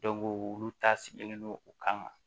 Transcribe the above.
olu ta sigilen don u kan